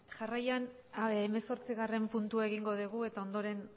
jarraian hemezortzigarren puntua egingo dugu eta ondoren